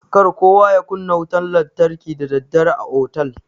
Kar kowa ya kunna wutan lantarki da daddare a otal.